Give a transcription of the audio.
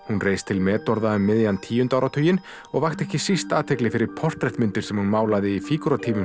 hún reis til metorða um miðjan tíunda áratuginn og vakti ekki síst athygli fyrir portrett myndir sem hún málaði í